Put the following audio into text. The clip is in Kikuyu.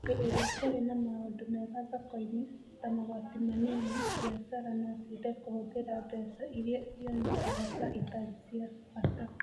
Hĩndĩ ĩrĩa kũrĩ na maũndũ mega thoko-inĩ, ta magoti manini, biacara no ciende kũhũthĩra mbeca iria cionekaga ta itarĩ cia bata.